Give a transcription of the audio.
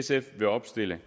sf vil opstille